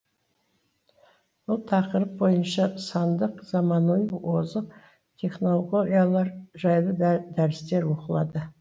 бұл тақырып бойынша сандық заманауи озық технологиялар жайлы дәрістер оқылды